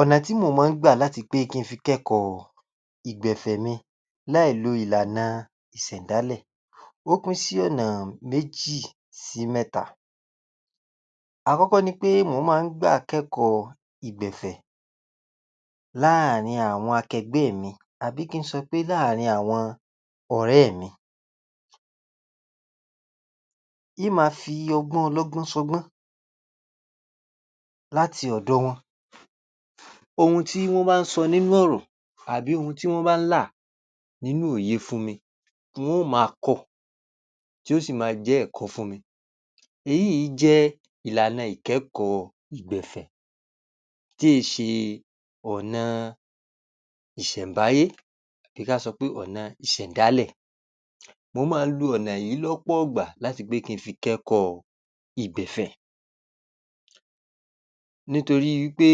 Ọ̀nà tí mò mọ́ ń gbà láti pé kí n fi kẹ́kọ̀ọ́ ìgbẹ̀fẹ̀ mi láìlo ìlànà ìsẹ̀ńdálẹ̀. Ó pín sí ọ̀nà méjì sí mẹ́ta. Àkọ́kọ́ ni pé mò má ń gbà kẹ́kọ̀ọ́ ìgbẹ̀fẹ̀ láàárín àwọn akẹgbẹ́ mi àbí kí n sọ pé láàárín àwọn ọ̀rẹ́ mi. Ń máa fi ọgbọ́n ọlọ́gbọ́n sọgbọ́n láti ọ̀dọ̀ wọn. Ohun tí wọ́n bá ń sọ nínú ọ̀rọ̀ àbí ohun tí wọ́n bá ń là nínú òye fún mi, ń ó máa kọ́ ọ, tí ó sì máa jẹ́ ẹ̀kọ́ fún mi. Èyíì jẹ́ ìlànà ìkẹ́kọ̀ọ́ ìgbẹ̀fẹ̀. Tí è ṣe ọ̀nà ìṣẹ̀ńbáyé bìí ká sọ pé ọ̀nà ìsẹ̀ńdálẹ̀. Mo mọ́ ń lo ọ̀nà yìí lọ́pọ̀ọ̀gbà láti pé kí n fi kẹ́kọ̀ọ́ ìgbẹ̀fẹ̀. Nítorí wí pé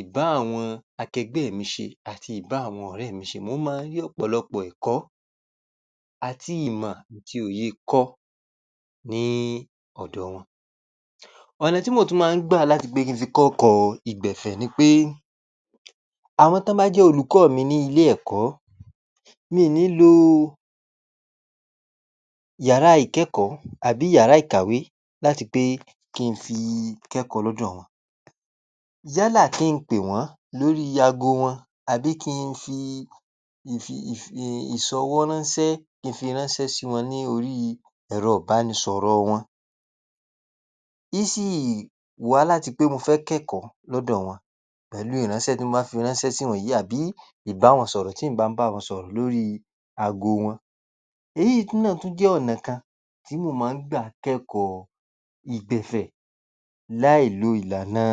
ìbá àwọn akẹgbẹ́ mi ṣe àti ìbá àwọn ọ̀rẹ́ mi ṣe mò mọ́ n rí ọ̀pọ̀lọpọ̀ ẹ̀kọ́ àti ìmọ̀ àti òye kọ́ ní ọ̀dọ̀ wọn. Ọ̀nà tí mò tún mọ́ ń gbà láti pé kí n fi kọ́kọ̀ọ́ ìgbẹ̀fẹ̀ ni pé àwọn tán án bá jẹ́ olùkọ́ mi ní ilé ẹ̀kọ́, mi ì ní lo yàrá ìkẹ́kọ̀ọ́ àbí yàrá ìkàwé láti pé kí n fi kẹ́kọ̀ọ́ lọ́dọ̀ wọn. Yálà kí n pè wọ́n lórí aago wọn àbí kí n fi ìfi...ìfi...[um]...ìsọwọ́ránńsẹ́ kí n fi ránńsẹ́ sí wọn ní orí ẹ̀rọ ìbánisọ̀rọ̀ wọn. Ń sì wá láti pé mo fẹ́ kẹ́kọ̀ọ́ lọ́dọ̀ wọn pẹ̀lú ìránsẹ́ tí n bá fi ránsẹ́ sí wọn yìí àbí ìbáwọnsọ̀rọ̀ tí ǹ bá báwọn sọ̀rọ̀ lórí aago wọn. Èyí náà tún jẹ́ ọ̀nà kan tí mò mọ́ ń gbà láti kẹ́kọ̀ọ́ ìgbẹ̀fẹ̀ láìlo ìlànà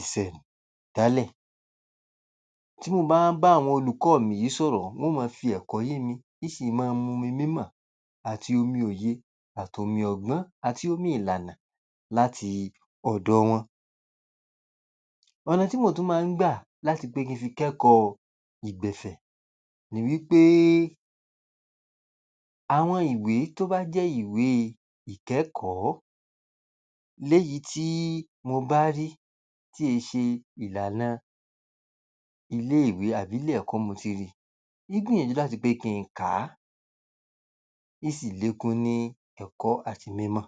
ìsẹ̀ń...dálẹ̀. Tí mo bá ń bá àwọn olùkọ́ mi sọ̀rọ̀ wọ́n ó mọ fi ẹ̀kọ́ yé mi, ń sì mọ́ n mumi mímọ̀ àti omi òye àtomi ọgbọ́n, àti omi ìlànà láti ọ̀dọ̀ wọn. Ọ̀nà tí mò tún mọ ń gbà láti kẹ́kọ̀ọ́ ìgbẹ̀fẹ̀ ni wí péé, àwọn ìwé tó bá jẹ́ ìwé ìkẹ́kọ̀ọ́ léyìí tí mo bá rí tí è ṣe ìlànà ilé ìwé àbí ilé ẹ̀kọ́ ni mo ti rí i, ń gbìyànjú láti pé kí n kà á. Ń sì lékún ní ẹ̀kọ́ àti mímọ̀